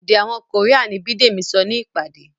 èdè àwọn Korean ni Bidemi sọ ní ìpàdé.